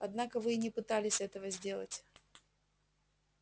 однако вы и не пытались этого сделать